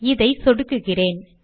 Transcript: இதை சொடுக்குகிறேன்